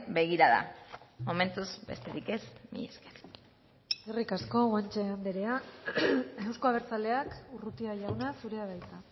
begirada momentuz besterik ez mila esker eskerrik asko guanche anderea euzko abertzaleak urrutia jauna zurea da hitza